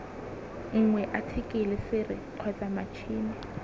nngwe athikele sere kgotsa matšhini